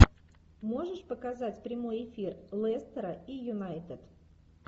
можешь показать прямой эфир лестера и юнайтед